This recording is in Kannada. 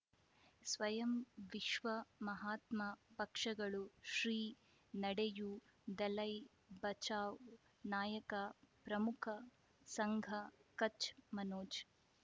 ಸ್ವಯಂ ವಿಶ್ವ ಮಹಾತ್ಮ ಪಕ್ಷಗಳು ಶ್ರೀ ನಡೆಯೂ ದಲೈ ಬಚೌ ನಾಯಕ ಪ್ರಮುಖ ಸಂಘ ಕಚ್ ಮನೋಜ್